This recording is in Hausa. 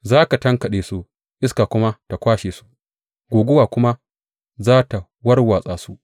Za ka tankaɗe su, iska kuma ta kwashe su, guguwa kuma za tă warwatsa su.